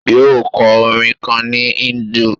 Yóò kọ orin kan ni Hindu